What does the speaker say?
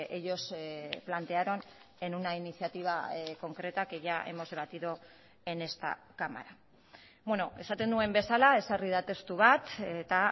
ellos plantearon en una iniciativa concreta que ya hemos debatido en esta cámara esaten nuen bezala ezarri da testu bat eta